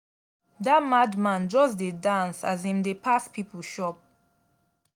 dat mad man just dey dance as im dey pass pipo shop.